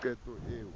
qeto eo